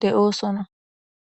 de7oosona.